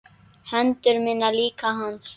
Hendur mínar líka hans.